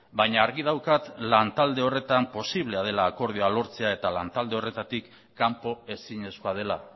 baina argi daukat lan talde horretan posiblea dela akordioa lortzea eta lan talde horretatik kanpo ezinezkoa dela